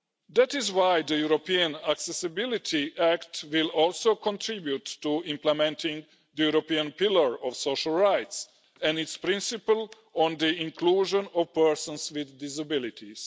That is why the European Accessibility Act will also contribute to implementing the European Pillar of Social Rights and its principle on the inclusion of persons with disabilities.